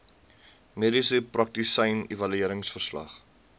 mediese praktisyn evalueringsverslag